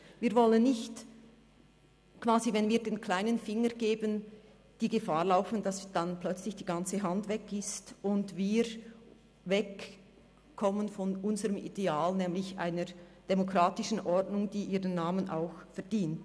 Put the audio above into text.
Wir wollen nicht, dass wenn wir quasi den kleinen Finger geben, Gefahr laufen, dass plötzlich die ganze Hand weg ist und wir von unseren Idealen wegkommen – von einer demokratischen Ordnung nämlich, die ihren Namen auch verdient.